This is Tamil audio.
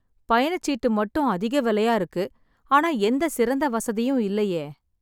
பயணச்சீட்டு மட்டும் அதிக விலையா இருக்கு ஆனா எந்த சிறந்த வசதியும் இல்லயே